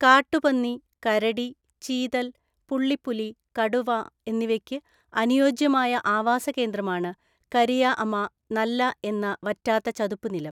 കാട്ടുപന്നി, കരടി, ചീതല്‍, പുള്ളിപ്പുലി, കടുവ എന്നിവയ്ക്ക് അനുയോജ്യമായ ആവാസ കേന്ദ്രമാണ് കരിയ അമ നല്ല എന്ന വറ്റാത്ത ചതുപ്പുനിലം.